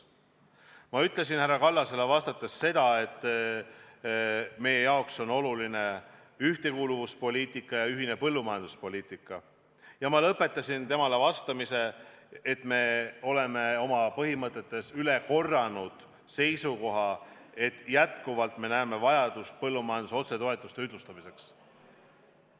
Ma ütlesin härra Kallasele vastates ka seda, et meie jaoks on oluline ühtekuuluvuspoliitika ja ühine põllumajanduspoliitika, ning lõpetasin oma vastuse sellega, et oleme oma põhimõtetes üle korranud seisukoha, et näeme jätkuvalt vajadust põllumajanduse otsetoetuste ühtlustamiseks.